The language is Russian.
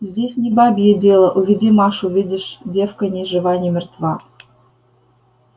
здесь не бабье дело уведи машу видишь девка ни жива ни мертва